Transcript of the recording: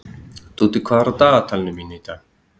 Dúddi, hvað er á dagatalinu mínu í dag?